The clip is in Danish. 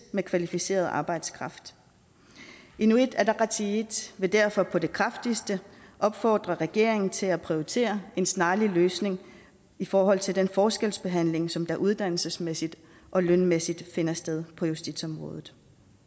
med kvalificeret arbejdskraft inuit ataqatigiit vil derfor på det kraftigste opfordre regeringen til at prioritere en snarlig løsning i forhold til den forskelsbehandling som uddannelsesmæssigt og lønmæssigt finder sted på justitsområdet